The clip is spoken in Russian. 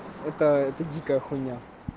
это это дикая хуйня